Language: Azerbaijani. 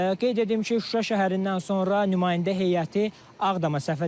Qeyd edim ki, Şuşa şəhərindən sonra nümayəndə heyəti Ağdama səfər edəcək.